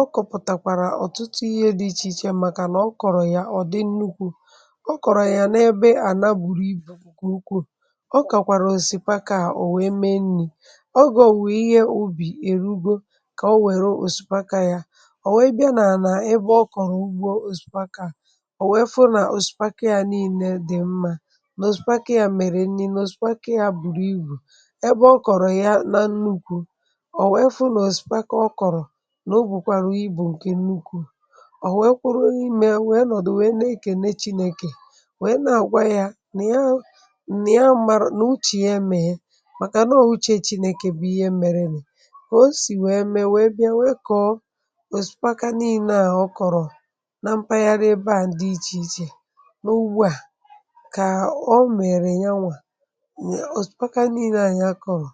ọ kọ̀pụ̀tàkwàrà ọ̀tụtụ ihe dị̇ ichè ichè um màkà nà ọ kọ̀rọ̀ yà ọ̀dị nnukwu̇ ọ kọ̀rọ̀ yà n’ebe à na buru ibù kwa ukwu̇ ọ kàkwàrà osìpaka yà ò wèe mee nnì ọgò ò wèe ihe obì erù ugbȯ kà o wère osìpaka yà ò wèe bịa n’anà ebe ọ kọ̀rọ̀ ugbȯ osìpaka yà ò wèe fọnà osìpaka yà niine dị̀ mmȧ ebe ọ kọ̀rọ̀ ya na nnukwu̇ ò wèe fụ nà òsìpaka ọ kọ̀rọ̀ n’ogwùkwàru ibù ǹke nnukwu̇ ò wèe kwụrụ imė nwèe nọ̀dụ̀ nwèe ne-èkène chinėkè nwèe na-àgwa ya nà ihe a nà ihe a màrọ̀ nà uchì ihe emė màkà nà o uchė chinėkè bụ ihe mere nì ka o sì nwèe mee wèe bịa nwee kọ̀ọ òsìpaka nile à um ọ kọ̀rọ̀ na mpaghara ebe à ndị ichè ichè n’ugbọ à òsìpaka niilė ànyị akọwà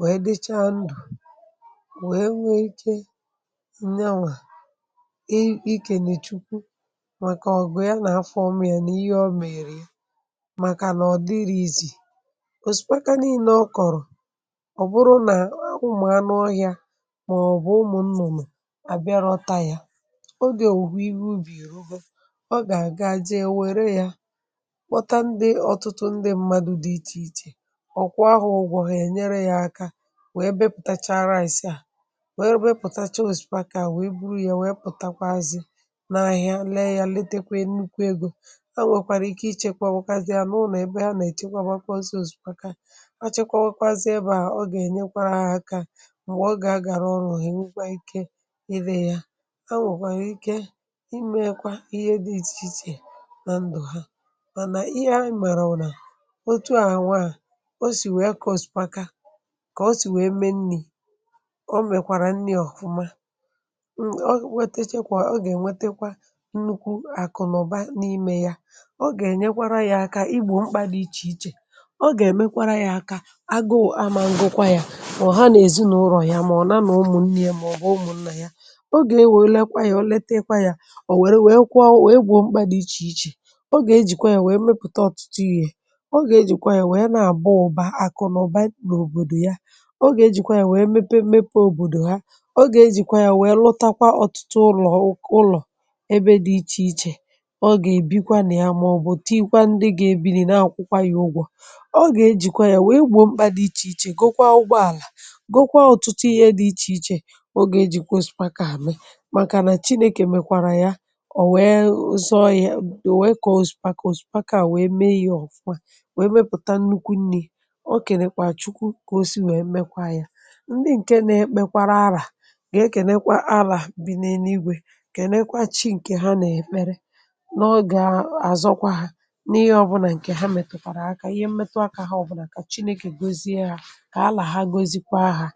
wèe dicha ndụ̀ wèe nwee iche nnyanwà ikènèchukwu màkà ọ̀gụ̀ ya nà afọ ọm ya n’ihe ọ mèrè ya màkànà ọ̀ dịrị ìzì òsìpaka niilė ọ kọ̀rọ̀ ọ̀ bụrụ nà ahụmàrà n’ọhịa màọbụ̀ ụmụ̀ nnụ̀nụ̀ àbịarọta yȧ ogè òhù ihe ubì ruo gà àga jee wère yȧ ọkụ ahụ ụgwọ ha enyere ya aka wee bepụtacharaa asị̀ a wee bepụtacha osipaka wee buru ya wee pụtakwazị na ahịa lee ya letekwe nnukwu ego ha nwekwara ike ichekwa nwekwara ya n’ụlọ ebe ha na echekwa akwazị ose ose osipaka ha chekwa nwekwara ebe ha ga enyekwara ha aka mgbe ọ ga agara ọrụ eh okenwukwa ike ịdị ya ha nwekwara ike imekwa ihe dị iche iche na ndụ ha mana ihe a mere ọrụ o sì nwee kà ọ̀sị̀kwa ka o sì nwee mmẹ̇ nni̇ o mèkwàrà nni̇ ọ̀kụma m m o wetechekwa o gà ènwetekwa nnukwu àkụ̀nụ̀ba n’imė yȧ o gà ènyekwara yȧ aka igbò mkpa dị ichè ichè o gà èmekwara yȧ aka agụụ̀ ama ngụkwa yȧ o ha nà èzinùrò yà mà ọ̀ na nà umù nni yȧ mà ọ̀ bù umù nnà yȧ ogè e wèe lekwa yȧ o letekwa yȧ ò wère wèe kwuo wèe gwùo mkpa dị ichè ichè o gà ejìkwa yȧ wèe mepụ̀ta ọtụtụ yȧ ọ bụ̀ ya nà àbụ ụbà akụ̀ nà ụba nà òbòdò ya o gà ejìkwa ya wee mepe mmepe òbòdò ha o gà ejìkwa ya wee lụtakwa ọ̀tụtụ ụlọ̀ ụlọ̀ ebe dị ichè ichè ọ gà èbikwa nà ya màọ̀bụ̀ tii kwa ndị gà èbini na-àkwụkwa ya ụgwọ̇ ọ gà ejìkwa ya wee gbò mkpà dị ichè ichè gokwa ụgbọàlà gokwa ọ̀tụtụ ihe dị ichè ichè o gà ejìkwa osìpaka àmị màkà nà chinėkè mekwàrà ya ọ̀ wee zọọ ya wee kọ̀ọ osìpà kọ̀ọ osìpà kà òsìpà kà àwèe mee ya ọ̀fụma ọ kènekwà chukwu kà o si wèe mmekwa yȧ ndị ǹke nà-ekpekwara arȧ gà-èkènekwa alà bì n’enu igwè ǹkènekwa chi ǹkè ha nà-èkpere n’ọgà-àzọkwa ha n’ihì ọbụ̀là ǹkè ha mètùkwàrà akȧ ihe mmetu akȧ ha ọbụ̀là kà chinėkè gozie hȧ kà alà ha gozi kwa hȧ.